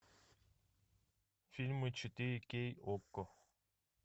фильмы четыре кей окко